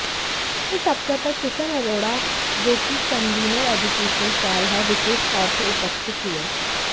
इस अवसर पर किशन अरोड़ा जोकि कनवीनर एजूकेशन सैल हैं विशेष तौर पर उपस्थित हुए